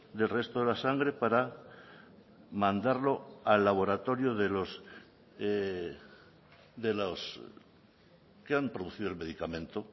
del resto de la sangre para mandarlo al laboratorio de los de los que han producido el medicamento